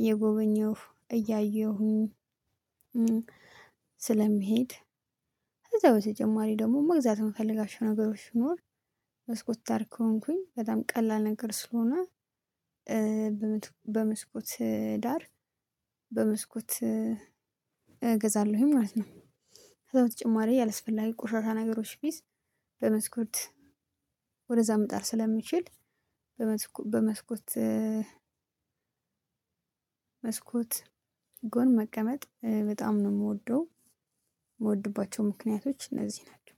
እየጎበኘሁ እያየሁኝ። ስለሚሄድ። ከዛ በተጨማሪ ደግሞ መግዛት የምፈልጋቸው ነገሮች ቢኖር። መስኮት ዳር ከሆንኩኝ በጣም ቀላል ነገር ስለሆነ። በመስኮት ዳር በመስኮት እገዛለሁኝ ማለት ነው። ከዛ በተጨማሪ አላስፈላጊ ቆሻሻ ነገሮች ቢይዝ በመስኮት ወደዛ መጣል ስለምችል። በመስኮት በመስኮት መስኮት ጎን መቀመጥ በጣም ነው እምወደው። የምወድባቸው ምክንያቶች እነዚህ ናቸው።